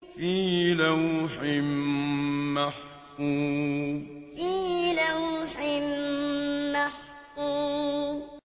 فِي لَوْحٍ مَّحْفُوظٍ فِي لَوْحٍ مَّحْفُوظٍ